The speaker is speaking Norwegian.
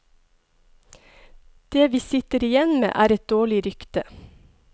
Det vi sitter igjen med, er et dårlig rykte.